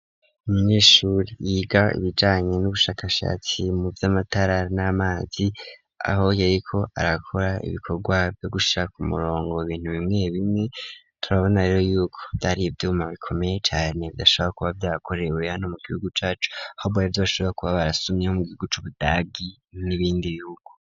Umunyeshuri yiga ibijanye n'ubushakashatsi mu vy'amatara n'amazi aho yariko arakora ibikorwa vyo gushira ku murongo ibintu bimwe bimwe turabona yuko vyari vyuma bikomeye cane bidashobora kuba vyarakorewe hano mu gihugu cacu ahubwonivyo bashobora kuba barasumye mu gihugu c'ubudagi n'ibindi bihugu.